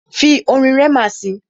Fi orin Rema si!